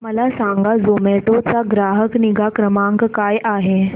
मला सांगा झोमॅटो चा ग्राहक निगा क्रमांक काय आहे